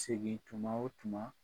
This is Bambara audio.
Segin tuma o tuma